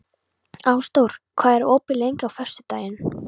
Ásdór, hvað er opið lengi á föstudaginn?